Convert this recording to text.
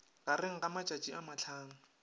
gareng ga matšatši a mahlano